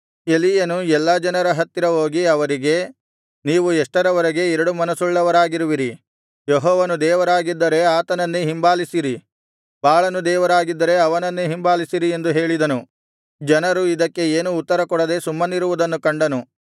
ಎಲೀಯನು ಎಲ್ಲಾ ಜನರ ಹತ್ತಿರ ಹೋಗಿ ಅವರಿಗೆ ನೀವು ಎಷ್ಟರವರೆಗೆ ಎರಡು ಮನಸ್ಸುಳ್ಳವರಾಗಿರುವಿರಿ ಯೆಹೋವನು ದೇವರಾಗಿದ್ದರೆ ಆತನನ್ನೇ ಹಿಂಬಾಲಿಸಿರಿ ಬಾಳನು ದೇವರಾಗಿದ್ದರೆ ಅವನನ್ನೇ ಹಿಂಬಾಲಿಸಿರಿ ಎಂದು ಹೇಳಿದನು ಜನರು ಇದಕ್ಕೆ ಏನೂ ಉತ್ತರಕೊಡದೆ ಸುಮ್ಮನಿರುವುದನ್ನು ಕಂಡನು